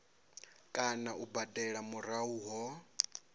kana u badela murahu ho